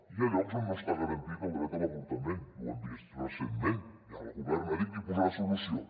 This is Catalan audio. hi ha llocs on no està garantit el dret a l’avortament i ho hem vist recentment i el govern ja ha dit que hi posarà solució